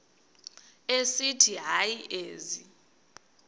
esithi hayi ezi